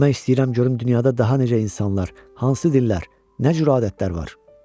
Bilmək istəyirəm görüm dünyada daha necə insanlar, hansı dillər, nə cür adətlər var?